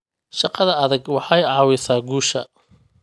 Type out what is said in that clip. Shaqada adag waxay caawisaa guusha.